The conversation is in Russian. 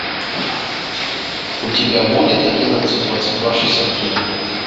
у тебя будет одиннадцать двадцать два шестьдесят три